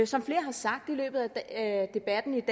som flere har sagt i løbet af debatten